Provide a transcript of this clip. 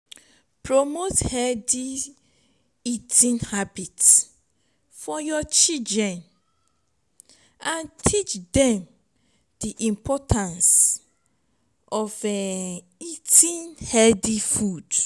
promote healthy eating habits for your children and teach dem di importance of eating healthy food